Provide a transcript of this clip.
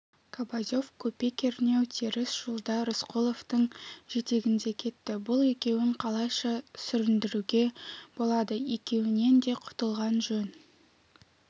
кобозев көпе-көрнеу теріс жолда рысқұловтың жетегінде кетті бұл екеуін қалайша сүріндіруге болады екеуінен де құтылған жөн